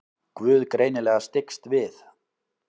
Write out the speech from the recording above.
Guð greinilega styggst við.